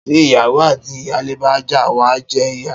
Tí iyáwó ati iyàlé bá já, wa jé ìyà